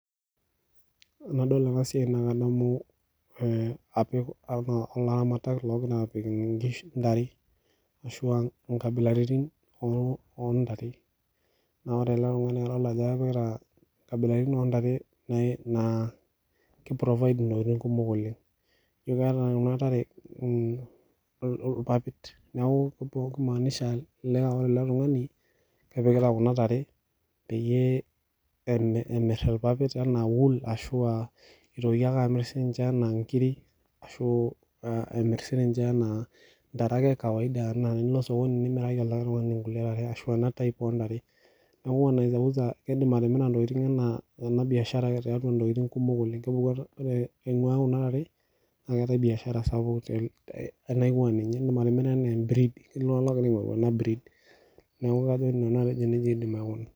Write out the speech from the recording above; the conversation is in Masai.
Enadolita ena siai nadamu elaramatak oo gira apik nkabilaritin oo ntare naa ore ele tung'ani naa kadolita Ajo kepikita nkabilaritin oo ntare naa kiprovide ntokitin kumok ketieu enaa keeta Kuna tare irpapit neeku kimaanisha ore ele tung'ani kepikita Kuna tare peeyie emir irpapit enaa wool ashu entoki ake amir enaa nkiri ashu emir enaa ntare ee kawaida enaa enilo sokoni nimiraki likae tung'ani ena type oo ntare neeku kidim etimira Kuna tokitin tiatua biashara sapuk oleng ore naa Kuna tare naa keetae biashara naingua Kuna tare edim atimira enaa ee breed iltung'ana oo gira aing'oru ena breed neeku kajo Nanu nejia edim aikuna